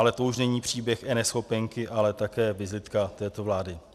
Ale to už není příběh eNeschopenky, ale také vizitka této vlády.